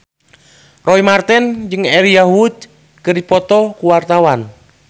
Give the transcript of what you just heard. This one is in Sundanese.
Roy Marten jeung Elijah Wood keur dipoto ku wartawan